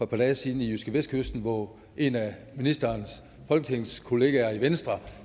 par dage siden i jydskevestkysten hvor en af ministerens folketingskolleger i venstre